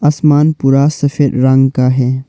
आसमान पूरा सफेद रंग का है।